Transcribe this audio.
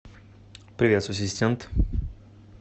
привет ассистент